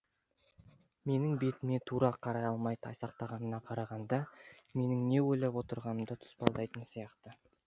менің бетіме тура қарай алмай тайсақтағанына қарағанда менің не ойлап отырғанымды тұспалдайтын сияқты